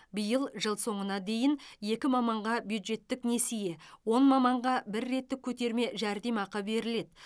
биыл жыл соңына дейін екі маманға бюджеттік несие он маманға бір реттік көтерме жәрдемақы беріледі